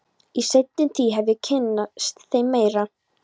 Í seinni tíð hef ég kynnst þeim meira.